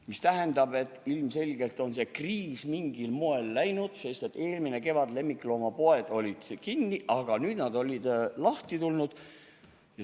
See tähendab, et ilmselgelt on see kriis mingil moel läinud, sest eelmine kevad olid lemmikloomapoed kinni, aga nüüd nad olid lahti.